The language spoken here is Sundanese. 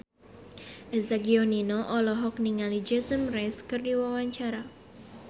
Eza Gionino olohok ningali Jason Mraz keur diwawancara